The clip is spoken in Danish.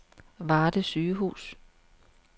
Varde Sygehus